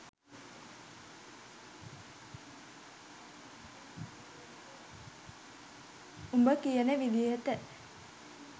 උබ කියන විදිහට